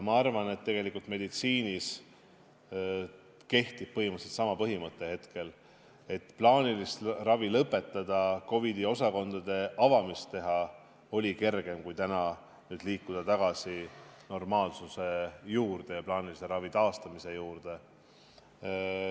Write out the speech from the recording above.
Ma arvan, et meditsiinis kehtib põhimõtteliselt sama põhimõte hetkel, et plaanilist ravi lõpetada, COVID-i osakondi avada oli kergem kui liikuda tagasi normaalsuse ja plaanilise ravi taastamise juurde.